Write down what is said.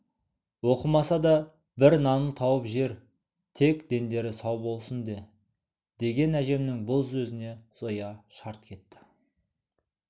оқымаса да бір нанын тауып жер тек дендері сау болсын де деген әжемнің бұл сөзіне зоя шарт кетті